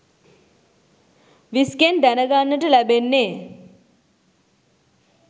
විස් ගෙන් දැනගන්නට ලැබෙන්නේ